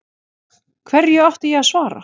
Hverju átti ég að svara.